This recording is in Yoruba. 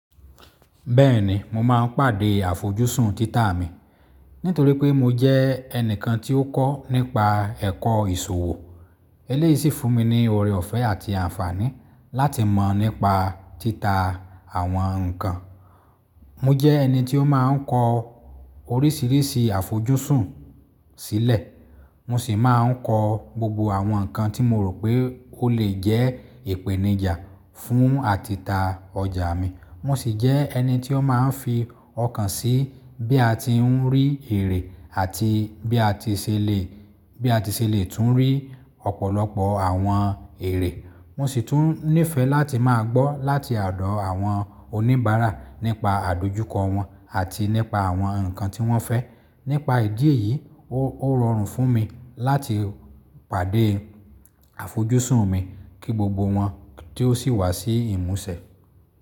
Bẹ́ẹ̀ni mo máa ń pàdé àfojúsùn títà mi nítorí pé mo jẹ́ ẹnìkan tí ó kọ́ nípa ẹ̀kọ́ ìṣòwò. Eléyìí sì fún mi ní ọ̀rẹ́ ọ̀fẹ́ àti àǹfààní láti mọ̀ nípa títà àwọn nǹkan. Mo je eni tí ó máa kó orísirísi àfojúsùn sílè. Mo sì máa ń kọ gbogbo àwọn nǹkan tí mo rò pé ó lè jẹ́ ìpèníjà fún àtìta ọjà mi. Mo sì jẹ́ ẹni tí ó máa ń fi ọkàn sí bí a ti ń rí èrè àti bí a ti ṣè lè, bí a ti ṣè lè tún rí ọ̀pọ̀lọpọ̀ àwọn èrè. Mo sì tún nífẹ̀ẹ́ láti máa gbọ́ láti, à, odọ́ àwọn oníbàárà nípa àdojúkọ wọn àti nípa àwọn nǹkan tí wọ́n fẹ́. Nípa ìdí èyí, ó rọrùn fún mi láti pàdé àfojúsùn mi kí gbogbo wọn tì o si wá sí ìmúṣẹ.